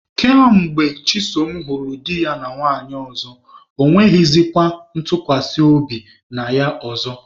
Ka mgbe Chisom hụrụ di ya na nwanyị ọzọ, ọ nweghịzịkwa ntụkwasị obi na ya ọzọ.